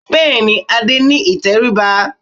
Bẹ́ẹ̀ ni, Adé ní ìtẹríba